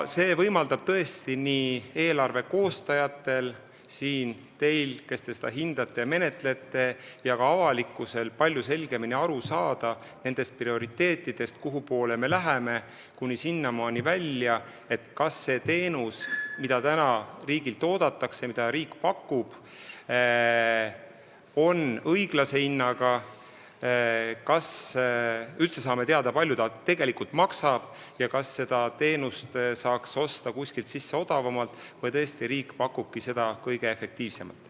See võimaldab nii eelarve koostajatel, teil, kes te siin seda hindate ja menetlete, ja ka avalikkusel palju selgemini aru saada meie prioriteetidest, kuni sinnamaani välja, et kas see teenus, mida riigilt oodatakse ja mida riik pakub, on õiglase hinnaga, kas me üldse saame teada, kui palju ta tegelikult maksab, ja kas seda teenust saaks osta kuskilt odavamalt või pakubki riik tõesti seda kõige efektiivsemalt.